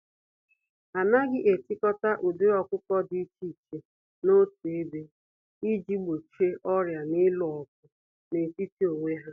Anaghị etikọta ụdịrị ọkụkọ dị iche iche n'otu ebe, iji gbochie ọrịa na ịlụ ọgụ n'etiti onwe ha.